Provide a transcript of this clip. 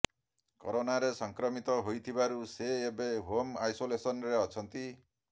କରୋନାରେ ସଂକ୍ରମିତ ହୋଇଥିବାରୁ ସେ ଏବେ ହୋମ୍ ଆଇସୋଲେସନରେ ଅଛନ୍ତି